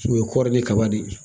O ye kɔɔri ni kaba de ye